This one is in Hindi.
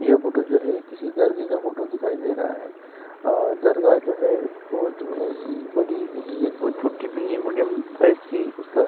यह फोटो जो है किसी दरगे का फोटो दिखाई दे रहा है दरगाह जो है बहोत बड़ी भी नहीं है बहोत छोटी भी नहीं है मीडियम साइज की उसका --